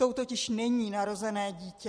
Tou totiž není narozené dítě.